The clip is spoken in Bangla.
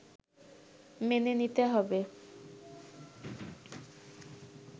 মেনে নিতে হবে